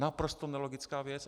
Naprosto nelogická věc.